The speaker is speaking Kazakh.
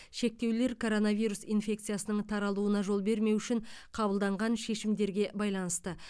шектеулер коронавирус инфекциясының таралуына жол бермеу үшін қабылданған шешімдерге байланысты